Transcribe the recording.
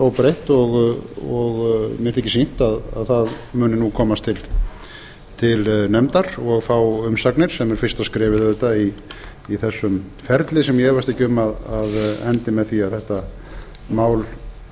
óbreytt og mér þykir sýnt að það muni nú komast til nefndar og fá umsagnir sem er fyrsta skrefið auðvitað í þessum ferli sem ég efast ekki um að endi með því að þetta mál